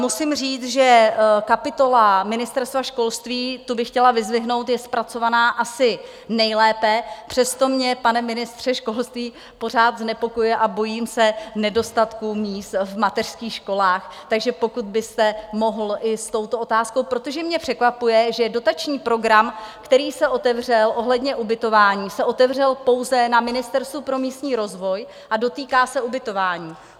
Musím říct, že kapitola Ministerstva školství, tu bych chtěla vyzdvihnout, je zpracovaná asi nejlépe, přesto mě, pane ministře školství, pořád znepokojuje a bojím se nedostatku míst v mateřských školách, takže pokud byste mohl i s touto otázkou, protože mě překvapuje, že dotační program, který se otevřel ohledně ubytování, se otevřel pouze na Ministerstvu pro místní rozvoj a dotýká se ubytování.